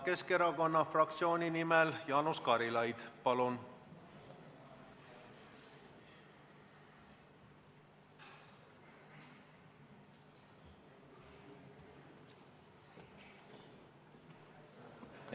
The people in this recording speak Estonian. Keskerakonna fraktsiooni nimel Jaanus Karilaid, palun!